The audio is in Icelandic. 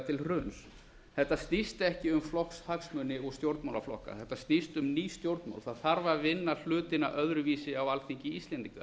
til hruns þetta snýst ekki um flokkshagsmuni og stjórnmálaflokka þetta snýst um ný stjórnmál það þarf að vinna hlutina öðruvísi á alþingi íslendinga